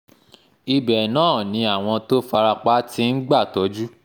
ibẹ̀ náà ni àwọn tó fara pa ti ń gbàtọ́jú